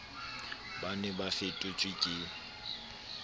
ba ne ba fetotswe ke